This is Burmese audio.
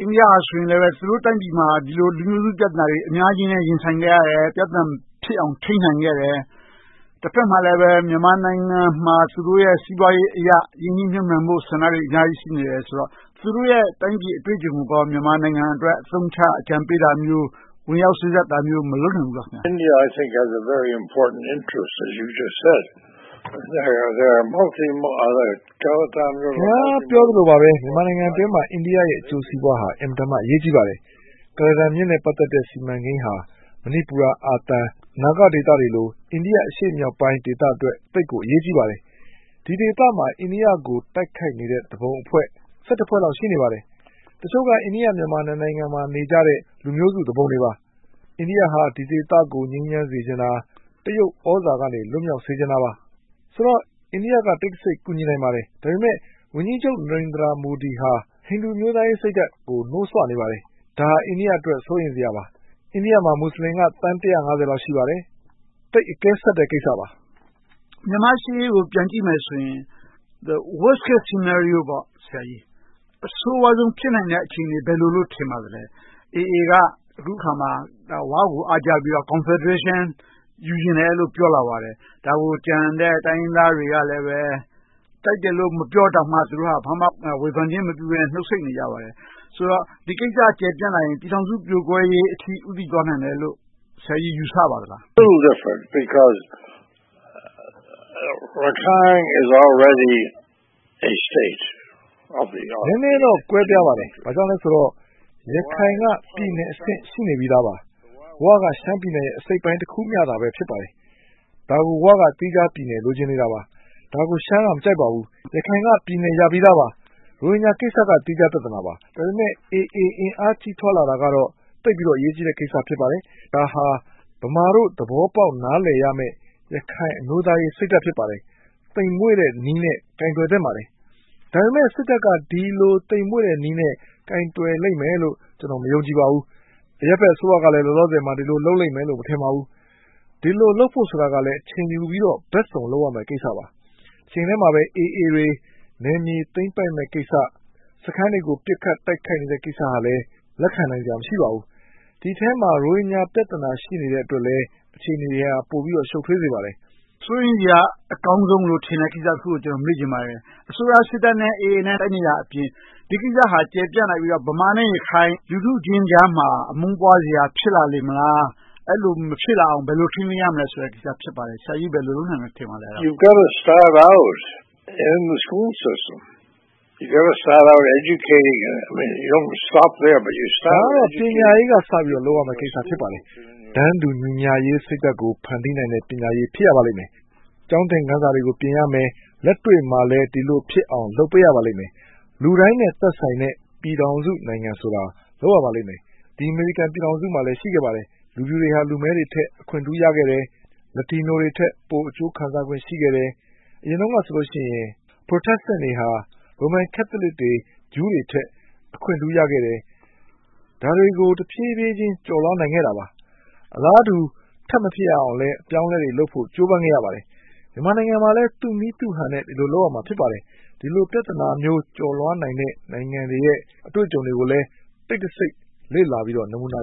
အိန္ဒိယက သူတို့တိုင်းပြည်မှာ ဒီလိုလူမျိုးစုပြဿနာတွေ အများကြီးနဲ့ ရင်ဆိုင်ခဲ့ရတယ်။ ပြဿနာတွေမဖြစ်အောင် ထိန်းနိုင်ခဲ့တယ်။ တဘက်မှာလည်း မြန်မာနိုင်ငံမှာ သူတို့ရဲ့ စီးပွားရေးအရ ရင်းနှီးမြုပ်နံှဖို့ ဆန္ဒတွေ အများကြီး ရှိနေတယ်ဆိုတော့ သူတို့ရဲ့ တိုင်းပြည်အတွေ့အကြံုံကို မြန်မာနိုင်ငံအတွက် အသုံးချအကြံပေးတာမျိုး၊ ဝင်ရောက်စေ့စပ်တာမျိုးတွေ မလုပ်နိုင်ဘူးလား။ ခင်များပြောသလိုပါပဲ မြန်မာနိုင်ငံအတွင်းမှာ အိန္ဒိယရဲ့ အကျိုးစီးပွားဟာ အင်မတန်မှ အရေးကြီးပါတယ်။ ကုလားတန်မြစ်နဲ့ စီမံကိန်းဟာ မဏိပူရ၊ အာသံ၊ နာဂဒေသတွေလို အိန္ဒိယဒေသ အရှေ့မြောက်ပိုင်းအတွက် သိပ်ကိုအရေးကြီးပါတယ်။ ဒီဒေသမှာ အိန္ဒိယကို တိုက်ခိုက်နေတဲ့ သူပုန်အဖွဲ့ ဖွဲ့လောက် ရှိနေပါတယ်။ တချို့က အိန္ဒိယ-မြန်မာ နှစ်နိုင်ငံမှာ နေကြတဲ့ လူမျိုးစုသူပုန်တွေပါ။ အိန္ဒိယဟာ ဒီဒေသကို ငြိမ်းချမ်းစေချင်တာ။ တရုတ်သြဇာကနေ လွှတ်မြောက်စေချင်တာပါ။ ဆိုတော့ အိန္ဒိယက တိတ်တစိတ် ကူညီနိုင်ပါတယ်။ ဒါပေမဲ့ အိန္ဒိယဝန်ကြီးချုပ် မိုဒီဟာ ဟိန္ဒူအမျိုးသားရေးစိတ်ဓါတ်ကို နိုးဆွနေပါတယ်။ ဒါဟာ အိန္ဒိယအတွက် စိုးရိမ်စရာပါ။ အိန္ဒိယမှာ မူစလင်က သန်း လောက် ရှိပါတယ်။ သိပ်အကဲဆတ်တဲ့ ကိစ္စပါ။ မြန်မာ့ရှေ့ရေးကို ပြန်ကြည့်မယ်ဆိုရင် The Worst Case Scenario အဆိုးဝါးဆုံး ဖြစ်နိုင်တဲ့ အခြေအနေ ဘာလို့ထင်ပါသလဲ။ AA က အခုအခါမှာ “ဝ” ကို အားကျပြီး Confederation ယူချင်တယ်လို့ ပြောလာပါတယ်။ ဒါကို ကျန်တဲ့ တိုင်းရင်းသားတွေကလည်း ကြိုက်တယ်လို့ မပြောတောင်မှ ဘာမှဝေဖန်ခြင်းမပြုဘဲနဲ့ နှုတ်ဆိတ်နေကြပါတယ်။ ဆိုတော့ ဒီကိစ္စကျယ်ပြန့်လာရင် ပြည်ထောင်စုပြိုကွဲရေးအထိ ဦးတည်သွားလာနိုင်တယ်လို့ ဆရာကြီး ယူဆပါသလား။ နည်းနည်းတော့ ကွဲပြားပါတယ်။ ဘာဖြစ်လို့လဲဆိုတော့ ရခိုင်က ပြည်နယ်အဆင့် ရှိနေပြီသားပါ။ “ဝ” က ရှမ်းပြည်နယ်ရဲ့ အစိတ်အပိုင်းတခုမျှသာ ဖြစ်ပါတယ်။ ဒါကို “ဝ” က သီးခြားပြည်နယ် လိုချင်နေတာပါ။ ဒါကို ရှမ်းက မကြိုက်ပါဘူး။ ရခိုင်က ပြည်နယ်ရပြီသားပါ။ ရိုဟင်ဂျာကိစ္စက သီးခြားပြဿနာပါ။ ဒါပေမဲ့ AA အင်အားကြီးထွားလာတာကတော့ သိပ်ပြီးတော့ အရေးကြီးတဲ့ကိစ္စ ဖြစ်ပါတယ်။ ဒါဟာ ဗမာတို့ နားလည်သဘောပေါက်ရမယ့် ရခိုင်အမျိုးသားရေးစိတ်ဓါတ် ဖြစ်ပါတယ်။ သိမ်မွှေ့တဲ့နည်းနဲ့ ကိုင်တွယ်သင့်ပါတယ်။ ဒါပေမဲ့ စစ်တပ်က ဒီလိုသိမ်မွှေ့တဲ့နည်းနဲ့ ကိုင်တွယ်လိမ့်မယ်လို့ ကျနော် မယုံကြည်ပါဘူး။ အရပ်ဘက်အစိုးရကလည်း ဒီလိုလုပ်လိမ့်မယ်လို့ မထင်ပါဘူး။ ဒီလိုလုပ်ဖို့ကိုလည်း အချိန်ယူပြီးတော့ ဘက်စုံလုပ်ရမယ့်ကိစ္စပါ။ တချိန်တည်းမှာပဲ AA တွေ နယ်မြေသိမ်းပိုက်မယ့်ကိစ္စ။ စခန်းတွေကို ပစ်ခတ်သိမ်းပိုက်နေတဲ့ ကိစ္စကလည်း လက်ခံနိုင်စရာ မရှိပါဘူး။ ဒီအထဲမှာ ရိုဟင်ဂျာပြဿနာ ရှိနေသေးတဲ့အတွက်လည်း အခြေအနေတွေက ပိုပြီးတော့ ရှုပ်ထွေးစေပါတယ်။ စိုးရိမ်စရာ အကောင်းဆုံးလို့ ထင်တဲ့ကိစ္စတခုကို မေးချင်ပါတယ်။ အစိုးရစစ်တပ်နဲ့ AA တို့ တိုက်နေတာအပြင် ဒီကိစ္စဟာ ကျယ်ပြန့်လာပြီးတော့ ဗမာနဲ့ ရခိုင် လူထုချင်းကြားမှာ အမုန်းပွားစရာ ဖြစ်လာလေမလား။ အဲဒီလို မဖြစ်လာအောင် ဘယ်လို ထိန်းသိမ်းရမလဲဆိုတဲ့ ကိစ္စ ဖြစ်ပါတယ်။ ဆရာကြီး ဘယ်လိုလုပ်နိုင်မယ်လို့ ထင်ပါသလဲ။ ဒါကတော့ ပညာရေးကစပြီး လုပ်ရမယ့်ကိစ္စ ဖြစ်ပါတယ်။ တန်းတူညီမျှရေးစိတ်ဓါတ်ကို ဖန်တီးနိုင်တဲ့ ပညာရေး ဖြစ်ရပါမယ်။ ကျောင်းသင်ခန်းစာတွေ ပြင်ရမယ်။ လက်တွေ့မှာလည်း ဒီလိုဖြစ်အောင် လုပ်ပေးရပါလိမ့်မယ်။ လူတိုင်းနဲ့ သက်ဆိုင်တဲ့ ပြည်ထောင်စုနိုင်ငံဆိုတာကို လုပ်ရပါလိမ့်မယ်။ ဒီ အမေရိကန်ပြည်ထောင်စုမှာလည်း ရှိခဲ့ပါတယ်။ လူဖြူတွေဟာ လူမည်းတွေထက် အခွင့်ထူးခံ ရခဲ့တယ်။ Latino တွေထက် ပိုအကျိုးခံစားခွင့် ရှိခဲ့တယ်။ အရင်တုန်းကဆိုရင် Protestant တွေက Roman Catholic, Jew တွေထက် အခွင့်ထူးရခဲ့တယ်။ ဒါတွေကို ဖြည်းဖြည်းချင်း ကျော်လွှာနိုင်ခဲ့တာပါ။ အလားတူ ထပ်မဖြစ်အောင်လဲ အပြောင်းအလဲတွေလုပ်ဖို့ ကြိုးပမ်းခဲ့ရပါတယ်။ မြန်မာနိုင်ငံမှာလည်း သူ့နည်းသူ့ဟန်နဲ့ ဒီလိုပြောင်းလဲမှုတွေ လုပ်ရပါမယ်။ ဒီလိုပြဿနာမျိုး ကျော်လွှာနိုင်မယ့် နိုင်ငံတွေရဲ့ အတွေ့အကြုံတွေကိုလည်း တိတ်တစိတ်လေ့လာပြီးတော့ နမူနာ